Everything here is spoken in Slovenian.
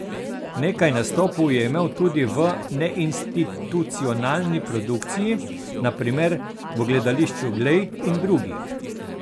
Nekaj nastopov je imel tudi v neinstitucionalni produkciji, na primer v Gledališču Glej in drugih.